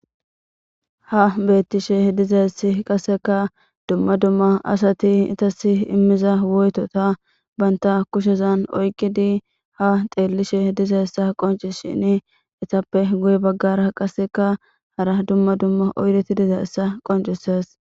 Ha beettishe dizaessi qasseka dumma dumma asati itas immiza woyetota baynta kushezan oyqidi ha xeellishe dizaessa qonci shini itappe guye baggara qaseka hara dumma dumma oyreti dizayssa qoncises.